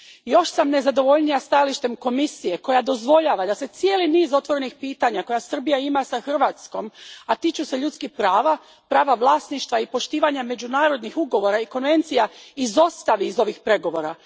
Još sam nezadovoljnija stajalištem Komisije koja dozvoljava da se cijeli niz otvorenih pitanja koje Srbija ima s Hrvatskom, a tiču se ljudskih prava, prava vlasništva i poštivanja međunarodnih ugovora i konvencija, izostavi iz ovih pregovora.